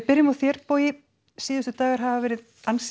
byrjum á þér Bogi síðustu dagar hafa verið ansi